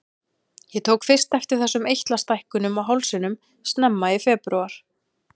Ég tók fyrst eftir þessum eitlastækkunum á hálsinum snemma í febrúar.